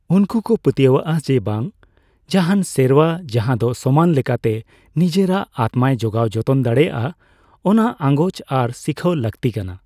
ᱩᱱᱠᱩ ᱠᱚ ᱯᱟᱹᱛᱭᱟᱹᱣᱟᱜᱼᱟ ᱡᱮᱹ, ᱡᱟᱦᱟᱱ ᱥᱮᱨᱣᱟ ᱡᱟᱦᱟᱸ ᱫᱚ ᱥᱚᱢᱟᱱ ᱞᱮᱠᱟᱛᱮ ᱱᱤᱡᱮᱨᱟᱜ ᱟᱛᱢᱟᱭ ᱡᱚᱜᱟᱣ ᱡᱚᱛᱚᱱ ᱫᱟᱲᱮᱭᱟᱜᱼᱟ, ᱚᱱᱟ ᱟᱸᱜᱚᱪ ᱟᱨ ᱥᱤᱠᱷᱟᱹᱣ ᱞᱟᱹᱠᱛᱤ ᱠᱟᱱᱟ᱾